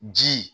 Ji